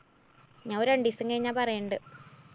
ഞാന്‍ ഒരു രണ്ടൂസം കഴിഞ്ഞാ പറയണ്ട്.